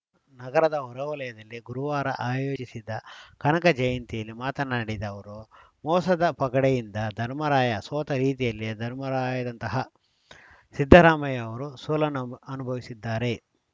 ನಗರದ ಹೊರವಲಯದಲ್ಲಿ ಗುರುವಾರ ಆಯೋಜಿಸಿದ್ದ ಕನಕ ಜಯಂತಿಯಲ್ಲಿ ಮಾತನಾಡಿದ ಅವರು ಮೋಸದ ಪಗಡೆಯಿಂದ ಧರ್ಮರಾಯ ಸೋತ ರೀತಿಯಲ್ಲಿಯೇ ಧರ್ಮರಾಯರಂತಹ ಸಿದ್ದರಾಮಯ್ಯ ಅವರೂ ಸೋಲನ್ ಅನುಭವಿಸಿದ್ದಾರೆ